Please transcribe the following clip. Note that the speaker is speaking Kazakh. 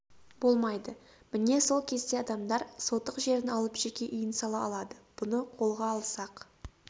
болмайды міне сол кезде адамдар сотық жерін алып жеке үйін сала алады бұны қолға алсақ